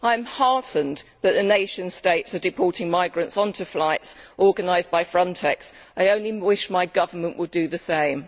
I am heartened that the nation states are deporting migrants onto flights organised by Frontex. I only wish my government would do the same.